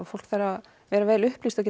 fólk þarf að vera vel upplýst og